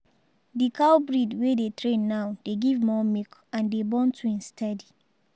di cow breed we dey train now dey give more milk and dey born twins steady.